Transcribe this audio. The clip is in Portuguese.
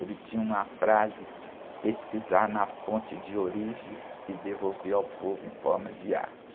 Ele tinha uma frase, pesquisar na fonte de origem e devolver ao povo em forma de arte.